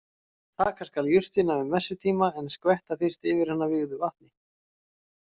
Taka skal jurtina um messutíma en skvetta fyrst yfir hana vígðu vatni.